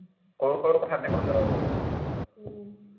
সৰু সৰু কথাতে কন্দুৱাব উম